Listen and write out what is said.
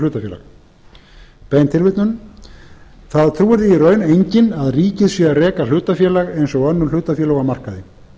hlutafélag það trúir því í raun enginn að ríkið sé að reka hlutafélag eins og önnur hlutafélög á markaði